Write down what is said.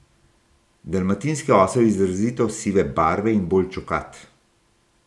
Dalmatinski osel je izrazito sive barve in bolj čokat.